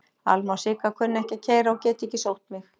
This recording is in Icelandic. Alma og Sigga kunna ekki að keyra og geta ekki sótt mig.